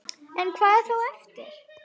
En hvað er þá eftir?